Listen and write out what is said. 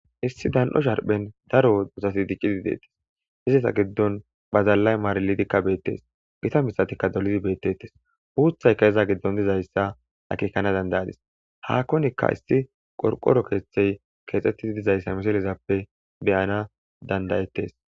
Issi dan'o sharphen daro uuthati diccidi beetetees. Izeta giddonka badalay maarilidi beetes. Gita mithatika dolidi beetetees. Uuthayka iza giddon dizaysa akekanas danda'adis. Haahonka isti qorqoro keethe keexetidi dizaysa misilezappe be'nas danda'etees.